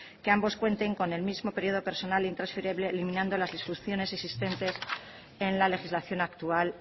que ambos cuenten con el mismo periodo personal intransferible eliminando las disfunciones existentes en la legislación actual